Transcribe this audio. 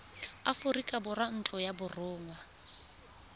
aforika borwa ntlo ya borongwa